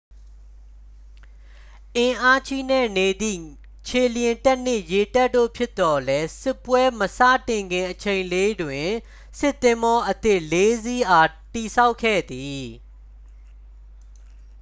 အင်းအာချိနဲ့နေသည့် ခြေလျင်တပ်နှင့် ရေတပ်တို့ ဖြစ်သော်လည်း စစ်ပွဲမစတင်ခင်အချိန်လေးတွင် စစ်သင်္ဘောအသစ် 4 စီးအား တည်ဆောက်ခဲ့သည်